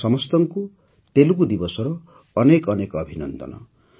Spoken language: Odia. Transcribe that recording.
ଆପଣ ସମସ୍ତଙ୍କୁ ତେଲଗୁ ଦିବସର ଅନେକ ଅନେକ ଅଭିନନ୍ଦନ